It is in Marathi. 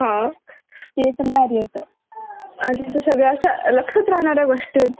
आजच्या सगळ्या अशा लक्षात राहणाऱ्या गोष्टी होत्या आणि आपण तर चेरीश करू शकतो. त्यांना नंतर पण